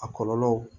A kɔlɔlɔ